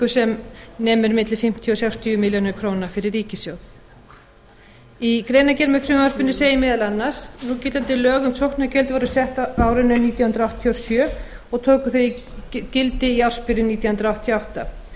sem nemur milli fimmtíu og sextíu milljónir króna fyrir ríkissjóð í greinargerð með frumvarpinu segir meðal annars núgildandi lög um sóknargjöld voru sett á árinu nítján hundruð áttatíu og sjö og tóku þau gildi í ársbyrjun nítján hundruð áttatíu og átta